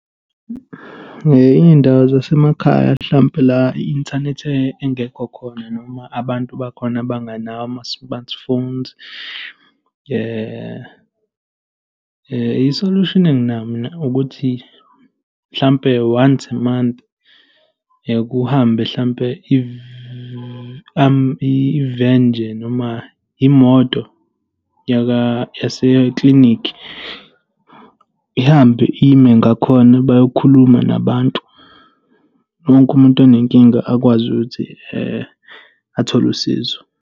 Iy'ndawo zasemakhaya hlampe la i-inthanethi engekho khona noma abantu bakhona abanganawo ama-smartphones, i-solution enginayo mina ukuthi mhlampe once a month kuhambe hlampe iveni nje noma imoto yaseklinikhi, ihambe ime ngakhona, bayokhuluma nabantu. Wonke umuntu onenkinga akwazi ukuthi athole usizo.